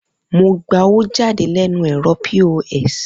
Mo gba owó jáde lẹ́nu ẹ̀rọ POS